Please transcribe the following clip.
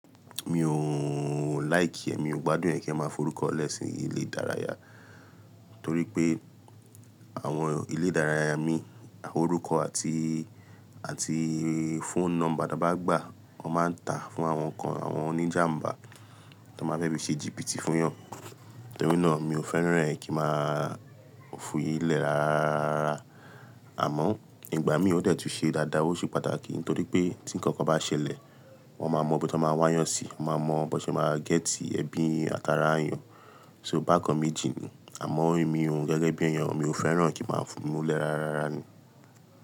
Mi ò like ẹ́, mi ò gbádùn ẹ́ kí ẹ máa fún orúkọ lẹ́ si ilé ìdárayá, torí pé àwọn ilé ìdárayá mii, orúkọ àti, àti phone number to bá gbà, wọ́n máa ń ta fún àwọn kan, àwọn oníjàǹbá tó máa fẹ́ fi ṣe jibiti fún wọn. Torí náà, mi ò fẹ́ràn ẹ́ kí n máa fi í lẹ́ rárá. Àmọ́ ìgbà míi ò dẹ̀ tún ṣe dáadáa, ó ṣe pàtàkì nítorí pé tí nǹkan kan bá ṣẹlẹ̀, wọ́n máa mọ bí wọ́n máa wá eeyàn si, wọ́n máa mọ bó ṣe máa gẹ́tì ẹbí àti ará eyàn. So bákan, meji ni. Àmọ́ èmi ohun gẹ́gẹ́ bí ẹyàn mi ò fẹ́ràn kí n máa fún un lẹ rárá ni.